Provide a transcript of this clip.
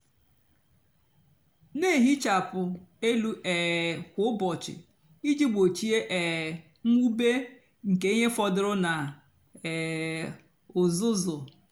nà-èhichapụ élú um kwá úbọchị íjì gbochie um mwube nkè íhè fọdụrụ nà um uzuzu.